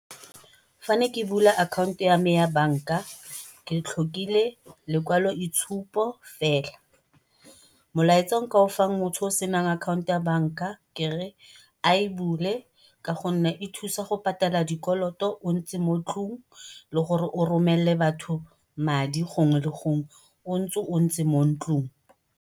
Fa ne ke bula akhaonto ya banka ke tlhokile lekwalo itshupo fela. Molaetsa o nka ofang motho yo o senang akhaonto ya banka kere a e bule ka gonne e thusa go bula dikoloto o ntse mo tlung le gore o romelele batho madi gongwe le gongwe o ntse o ntse mo ntlung.